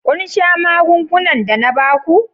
Kun sha magungunan da na ba ku?